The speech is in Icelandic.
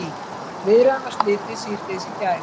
Viðræðunum var slitið síðdegis í gær